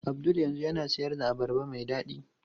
Abdul yanzu yana siyar da abarba mai dadi.